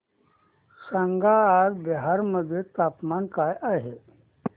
सांगा आज बिहार मध्ये तापमान काय आहे